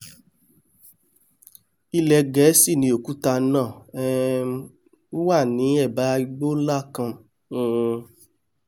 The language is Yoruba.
ilẹ̀ ẹ gẹ̀ẹ́sì ni òkúta náà um wà ní ẹ̀ bá igbó nlá kan um